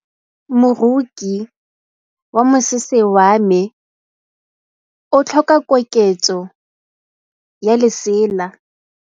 Moroki wa mosese wa me o tlhoka koketsô ya lesela.